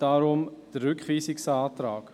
Deshalb der Rückweisungsantrag.